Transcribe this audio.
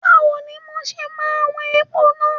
Báwo ni mo ṣe máa wọn epo náà?